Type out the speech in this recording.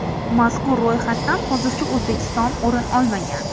Mazkur ro‘yxatdan hozircha O‘zbekiston o‘rin olmagan.